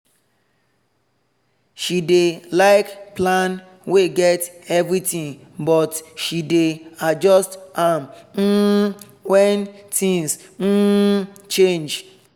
she dey like plan wey get everything but she dey adjust am um when things um change